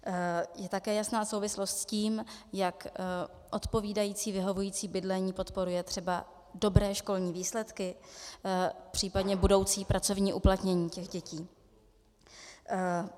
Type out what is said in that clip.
Je také jasná souvislosti s tím, jak odpovídající, vyhovující bydlení podporuje třeba dobré školní výsledky, případně budoucí pracovní uplatnění těch dětí.